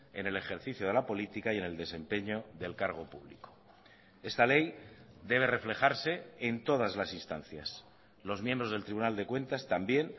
en el ejercicio de la política y en el desempeño del cargo público esta ley debe reflejarse en todas las instancias los miembros del tribunal de cuentas también